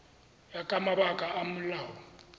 ya ka mabaka a molao